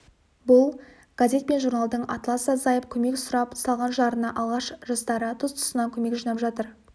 бұл газет пен журналдың атласы азайып көмек сұрап салған жарына алаш жастары тұс-тұсынан көмек жинап жатыр